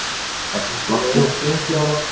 Sex látnir í sprengjuárás